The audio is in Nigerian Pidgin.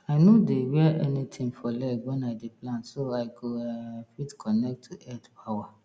i no dey wear anything for leg when i dey plant so i go um fit connect to earth power